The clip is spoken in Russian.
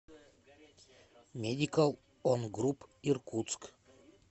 медикал он груп иркутск